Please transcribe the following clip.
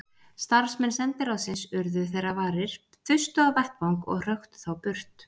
Starfsmenn sendiráðsins urðu þeirra varir, þustu á vettvang og hröktu þá burt.